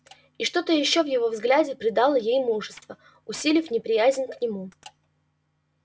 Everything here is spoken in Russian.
и что-то ещё в его взгляде придало ей мужества усилив неприязнь к нему